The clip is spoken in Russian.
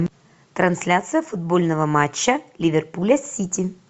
трансляция футбольного матча ливерпуля с сити